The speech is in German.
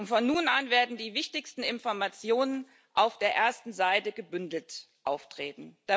Von nun an werden die wichtigsten Informationen auf der ersten Seite gebündelt auftreten.